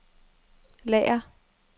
lager